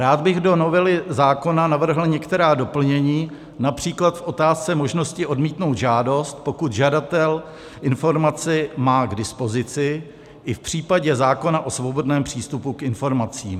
Rád bych do novely zákona navrhl některá doplnění, například v otázce možnosti odmítnout žádost, pokud žadatel informaci má k dispozici, i v případě zákona o svobodném přístupu k informacím.